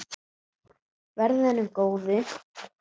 Verði henni að góðu.